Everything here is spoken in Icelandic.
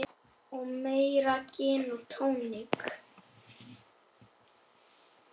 Og meira gin og tónik.